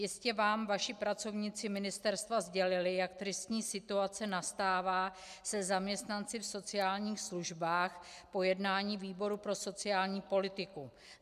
Jistě vám vaši pracovníci ministerstva sdělili, jak tristní situace nastává se zaměstnanci v sociálních službách, po jednání výboru pro sociální politiku.